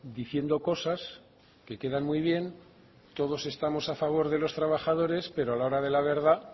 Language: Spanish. diciendo cosas que quedan muy bien todos estamos a favor de los trabajadores pero a la hora de la verdad